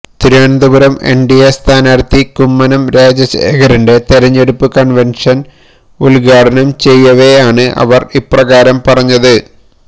തിരുവനന്തപുരത്ത് എൻഡിഎ സ്ഥാനാർത്ഥി കുമ്മനം രാജശേഖരന്റെ തിരഞ്ഞെടുപ്പ് കൺവെൻഷൻ ഉദ്ഘാടനം ചെയ്യവേ ആണ് അവര് ഇപ്രകാരം പറഞ്ഞത്